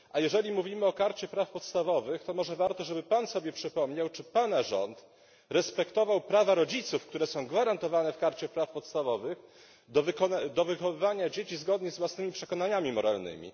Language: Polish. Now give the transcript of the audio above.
A jeżeli mówimy o Karcie praw podstawowych, to może warto, żeby Pan sobie przypomniał, czy Pana rząd respektował prawa rodziców, które są gwarantowane w Karcie praw podstawowych, do wychowywania dzieci zgodnie z własnymi przekonaniami moralnymi.